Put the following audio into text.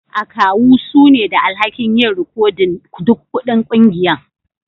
Akawu su ne da alhaki'n yin rikodin duk kuɗin kungiyan.